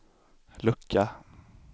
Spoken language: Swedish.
lucka